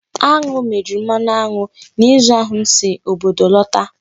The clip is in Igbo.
Aṅụ mejuru mmanụ aṅụ n'izu ahụ m si obodo lota.